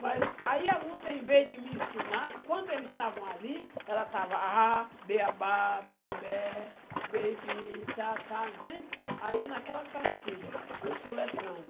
Mas aí a Lúcia, em vez de me ensinar, enquanto eles estavam ali, ela estava á bê á bá, bê é bé, bê e bi, tal e tal entendeu? Aí naquela cartilha, eu soletrando.